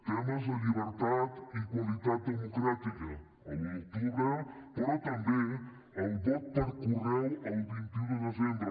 temes de llibertat i qualitat democràtica l’un d’octubre però també el vot per correu el vint un de desembre